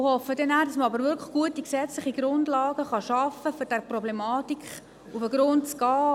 Ich hoffe aber, dass man dann wirklich gute gesetzliche Grundlagen schaffen kann, um dieser Problematik auf den Grund zu gehen.